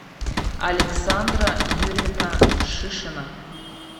александра юрьевна шишина